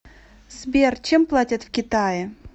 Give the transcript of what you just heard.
сбер чем платят в китае